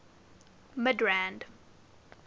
midrand